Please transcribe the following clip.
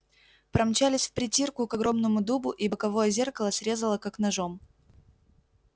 промчались впритирку к огромному дубу и боковое зеркало срезало как ножом